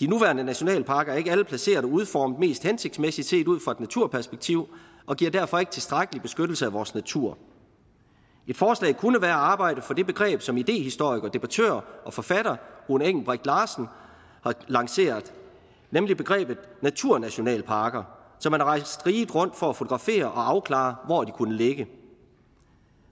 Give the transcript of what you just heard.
de nuværende nationalparker er ikke alle placeret og udformet mest hensigtsmæssigt set ud fra et naturperspektiv og giver derfor ikke tilstrækkelig beskyttelse af vores natur et forslag kunne være at arbejde for det begreb som idehistoriker debattør og forfatter rune engelbreth larsen har lanceret nemlig begrebet naturnationalparker han har rejst riget rundt for at fotografere og afklare hvor de kunne ligge